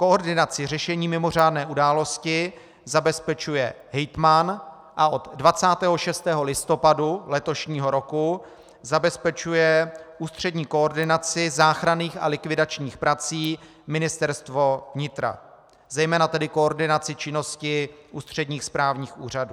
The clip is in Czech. Koordinaci řešení mimořádné události zabezpečuje hejtman a od 26. listopadu letošního roku zabezpečuje ústřední koordinaci záchranných a likvidačních prací Ministerstvo vnitra, zejména tedy koordinaci činnosti ústředních správních úřadů.